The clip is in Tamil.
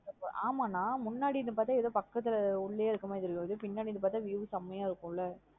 ஆமா நா முன்னாடி இருந்து பாத்த ஏதோ பக்கத்துல உள்ளய இருக்கிற மாத்ரி தெரியாது பின்னாடி இருந்து view செம்மைய இருக்குன் லா.